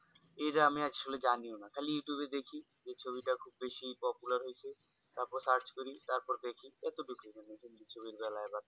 এই যে actually আমি জানিও না খালি youtube এ দেখি যে ছবিটা খুব বেশি popular হয়েছে তারপর search করি তারপর দেখি অতটুকুই